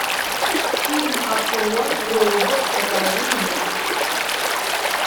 фильм акула робот покажи мне